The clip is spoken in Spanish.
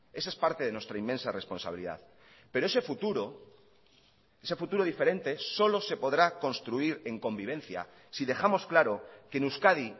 esa es parte de nuestra inmensa responsabilidad pero ese futuro ese futuro diferente solo se podrá construir en convivencia si dejamos claro que en euskadi